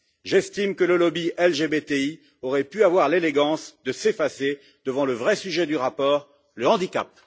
J'estime que le lobby LGBTI aurait pu avoir l'élégance de s'effacer devant le vrai sujet du rapport le handicap.